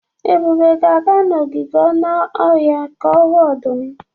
Ebube ga-aga n'ogige anụ ọhịa ka ọ hụ ọdụm.